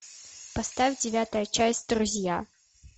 поставь девятая часть друзья